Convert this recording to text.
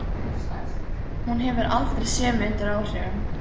Hún hefur aldrei séð mig undir áhrifum.